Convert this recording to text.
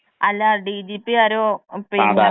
അല്ല ഡിജിപി ആരോ പിന്നെ.